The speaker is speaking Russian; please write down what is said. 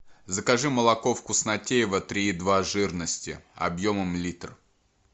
закажи молоко вкуснотеево три и два жирности объемом литр